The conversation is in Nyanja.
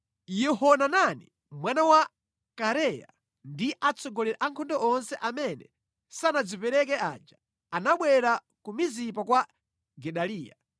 Yohanani mwana wa Kareya ndi atsogoleri a ankhondo onse amene sanadzipereke aja anabwera ku Mizipa kwa Gedaliya